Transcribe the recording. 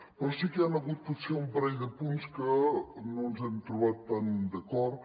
però sí que hi han hagut potser un parell de punts en què no ens hem trobat tan d’acord